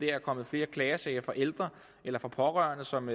er kommet flere klagesager fra ældre eller fra pårørende som